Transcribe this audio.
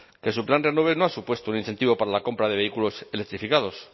que su plan renove no ha supuesto un incentivo para la compra de vehículos electrificados